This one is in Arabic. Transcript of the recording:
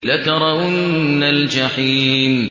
لَتَرَوُنَّ الْجَحِيمَ